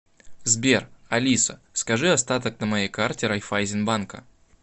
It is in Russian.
сбер алиса скажи остаток на моей карте райффайзенбанка